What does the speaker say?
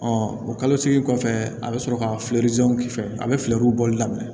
o kalo segin kɔfɛ a bɛ sɔrɔ ka fɛrɛ k'i fɛ a bɛ fɛɛrɛw bɔli daminɛ